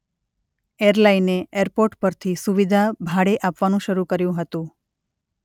એરલાઇને airport પરથી સુવિધા ભાડે આપવાનું શરૂ કર્યું હતું.